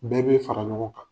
Bɛɛ be fara ɲɔgɔn kan.